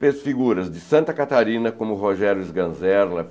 Fez figuras de Santa Catarina, como Rogério Sganzerla.